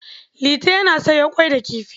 Liti yana soya ƙwai da kifi.